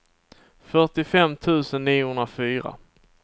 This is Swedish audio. fyrtiofem tusen niohundrafyra